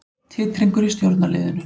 Titringur í stjórnarliðinu